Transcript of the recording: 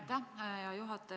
Aitäh, hea juhataja!